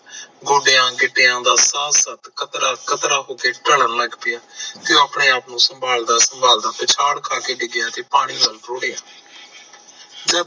ਗੋਡਿਆਂ ਗਿਟਿਆਂ ਕਤਰਾ ਕਤਰਾ ਹੋਕੇ ਢਲਣ ਲਗ ਪਿਆ ਤੇ ਉਹ ਆਪਣੇ ਆਪ ਨੂੰ ਸੰਭਾਲਦਾ ਸੰਭਾਲਦਾ ਪਿਛਾੜ ਖਾਕੇ ਡਿਗਿਆ ਤੇ ਪਾਣੀ ਨਾਲ ਰੋੜੀਆਂ